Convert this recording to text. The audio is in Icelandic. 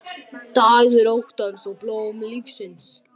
Dagur óttans og blóm lífsins